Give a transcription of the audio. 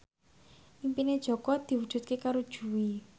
impine Jaka diwujudke karo Jui